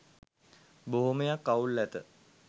බොහොමයක් අවුල් ඇත